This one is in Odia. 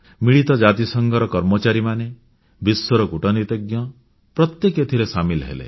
ମିଳିତ ଜାତିସଂଘର କର୍ମଚାରୀମାନେ ବିଶ୍ୱର କୂଟନୀତିଜ୍ଞ ପ୍ରତ୍ୟେକେ ଏଥିରେ ସାମିଲ ହେଲେ